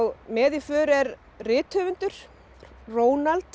með í för er rithöfundur